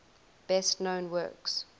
best known works